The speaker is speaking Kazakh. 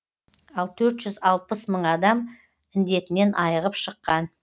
ал төрт жүз алпыс мың адам індетінен айығып шыққан